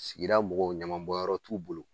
Sigida mɔgɔw ɲamabɔnyɔrɔ t'u bolo